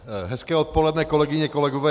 Hezké odpoledne, kolegyně, kolegové.